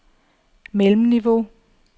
mellemniveau